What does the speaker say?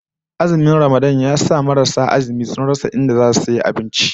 Azumin Ramadan ya sa marasu azumi sun rasa inda zasu sayi abinci